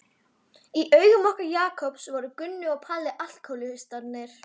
Í augum okkar Jakobs voru Gunni og Palli alkóhólistarnir.